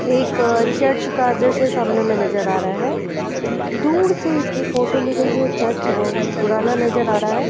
एक चर्च का दृश्य सामने में नजर आ रहा है। दूर से इसकी फ़ोटो ली गयी है। चर्च बोहोत पुराना नजर आ रहा है।